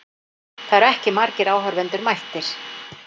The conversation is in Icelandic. Það eru ekki margir áhorfendur mættir.